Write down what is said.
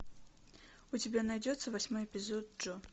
у тебя найдется восьмой эпизод джо